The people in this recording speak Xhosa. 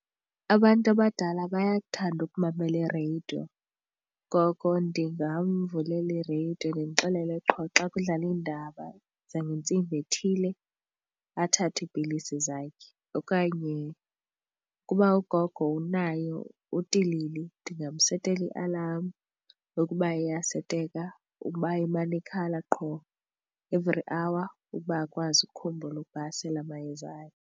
Abantu abadala bayakuthanda ukumamela ireyidiyo ngoko ndingamvulela ireyidiyo ndimxelele qho xa kudlala iindaba zangentsimbi ethile athathe iipilisi zakhe. Okanye ukuba ugogo unayo utilili ndingamsetela ialam ukuba iyaseteka ukuba imane ikhala qho every hour ukuba akwazi ukhumbula uba asele amayeza akhe.